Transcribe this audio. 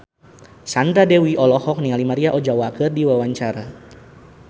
Sandra Dewi olohok ningali Maria Ozawa keur diwawancara